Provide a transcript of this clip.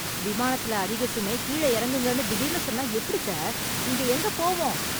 விமானத்துல அதிக சுமை, கீழ இறங்குங்கன்னு திடீர்னு சொன்னா எப்டி சார்? இங்க எங்கே போவோம்?